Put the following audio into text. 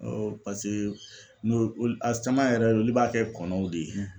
pase n'o ol a caman yɛrɛ olu b'a kɛ kɔnɔw de ye.